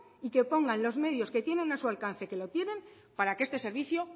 y que pongan los medios que tienen a su alcance que lo tienen para que este servicio